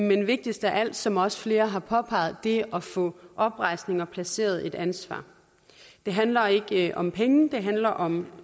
men vigtigst af alt som også flere har påpeget det at få oprejsning og få placeret et ansvar det handler ikke ikke om penge det handler om